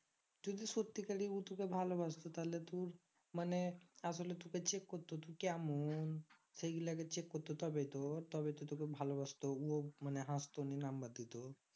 যদি সত্যিকারে ও তোকে ভালোবাসতো তাহলে তোর মানে আসলে তোকে check করতো তুই কেমন সেইগুলা আগে check করতো তবে তো তবে তো তোকে ভালোবাসতো ওয়া মানে হাসতো নিয়ে chek দিত